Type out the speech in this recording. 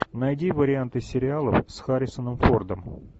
найди варианты сериалов с харрисоном фордом